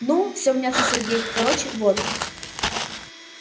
ну все мнётся сергей короче вот